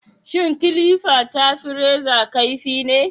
Shin kilifa ta fi reza kaifi ne?